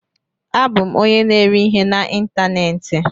Abụ m onye na-ere ihe n'ịntanetị.